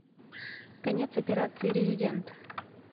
конец операции резидент